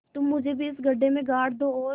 तुम मुझे भी इस गड्ढे में गाड़ दो और